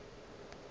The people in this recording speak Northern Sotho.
o be a sa tsebe